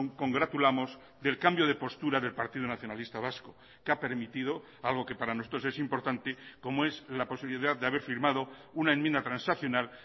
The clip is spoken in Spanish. congratulamos del cambio de postura del partido nacionalista vasco que ha permitido algo que para nosotros es importante como es la posibilidad de haber firmado una enmienda transaccional